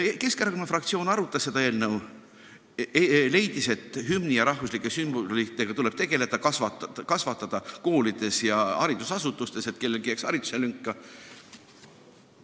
Keskerakonna fraktsioon arutas seda eelnõu ning leidis, et hümni ja rahvuslike sümbolitega tuleb tegeleda, tuleb kasvatada inimesi koolides ja haridusasutustes, et kellegi haridusse ei jääks lünka.